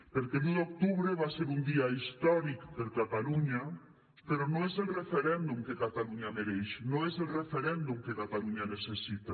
perquè l’un d’octubre va ser un dia històric per a catalunya però no és el referèndum que catalunya mereix no és el referèndum que catalunya necessita